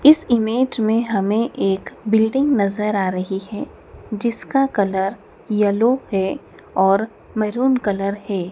इस इमेज में हमें एक बिल्डिंग नजर आ रही हैं जिसका कलर येलो है और मैरून कलर हैं।